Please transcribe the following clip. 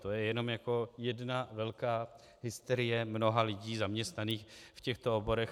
To je jenom jako jedna velká hysterie mnoha lidí zaměstnaných v těchto oborech.